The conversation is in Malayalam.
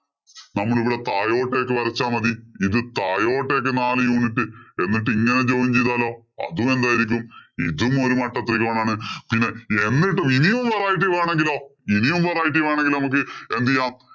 നമ്മളിവിടെ താഴോട്ടേക്ക് വരച്ചാ മതി. ഇത് താഴോട്ടേക്ക് നാല് unit എന്നിട്ട് ഇങ്ങനെ join ചെയ്താലോ. അതും എന്തായിരിക്കും. ഇതും ഒരു മട്ടത്രികോണം ആണ്. പിന്നെ എന്നിട്ട് ഇനിയും variety വേണമെങ്കിലോ, ഇനിയും variety വേണമെങ്കില്‍ നമ്മക്ക് എന്ത് ചെയ്യാം.